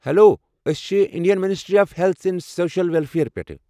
Hello! ٲسۍ چھِ ایڑین ministry of health and social welfare پٮ۪ٹھہٕ ۔